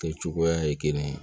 Kɛ cogoya ye kelen ye